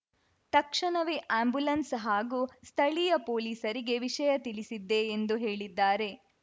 ತಕ್ಷಣವೇ ಆಂಬ್ಯುಲೆನ್ಸ್‌ ಹಾಗೂ ಸ್ಥಳೀಯ ಪೊಲೀಸರಿಗೆ ವಿಷಯ ತಿಳಿಸಿದ್ದೆ ಎಂದು ಹೇಳಿದ್ದಾರೆ